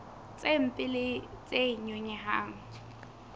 tse mpe le tse nyonyehang